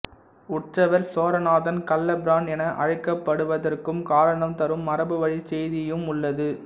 உற்சவர் சோரநாதன் கள்ளபிரான் என அழைக்கப்படுவதற்கும் காரணம் தரும் மரபுவழிச் செய்தியும் உள்ளது